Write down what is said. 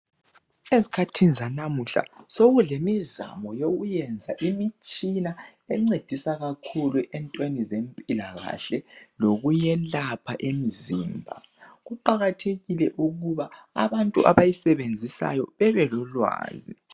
Ezkhathini zanamuhla sokulemizamo yokuyenza imitshina encedisa kakhulu entweni zempilakahle lokuyelapha imzimba, kuqakathekile ukuba abantu abayisebenzisayo bebe lolwazi.